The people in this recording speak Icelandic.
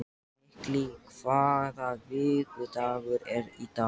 Millý, hvaða vikudagur er í dag?